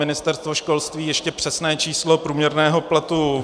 Ministerstvo školství ještě přesné číslo průměrného platu -